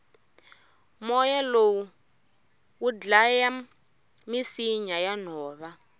moya lowu wudlaya misinya yanhova